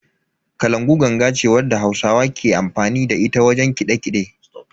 Kalangu ganga ce wadda hausawa ke amfani da ita wajen kiɗe-kiɗe.